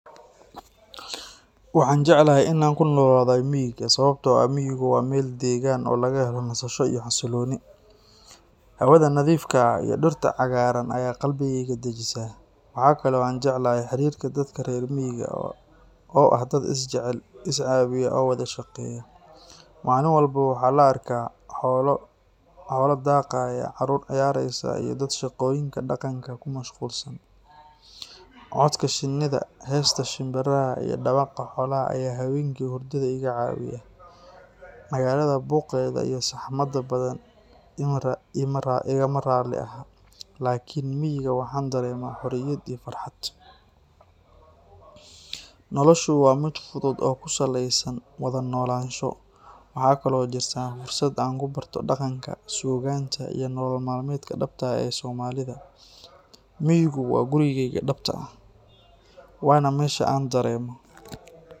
Waxaan jeclahay inaan ku noolaado miyiga sababtoo ah miyigu waa meel deggan oo laga helo nasasho iyo xasilooni. Hawaada nadiifka ah iyo dhirta cagaaran ayaa qalbigayga dejisa. Waxa kale oo aan jeclahay xiriirka dadka reer miyiga oo ah dad is jecel, is caawiya, oo wada shaqeeya. Maalin walba waxaa la arkaa xoolo daaqaya, carruur ciyaaraysa, iyo dad shaqooyinka dhaqanka ku mashquulsan. Codka shinida, heesta shimbiraha, iyo dhawaqa xoolaha ayaa habeenkii hurdada iga caawiya. Magaalada buuqeeda iyo saxmadda badan igama raalli aha, laakiin miyiga waxaan dareemaa xorriyad iyo farxad. Noloshu waa mid fudud oo ku salaysan wada noolaansho. Waxaa kaloo jirta fursad aan ku barto dhaqanka, suugaanta, iyo nolol maalmeedka dhabta ah ee Soomaalida. Miyigu waa gurigayga dhabta ah, waana meesha aan dareemo